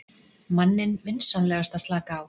manninn vinsamlegast að slaka á.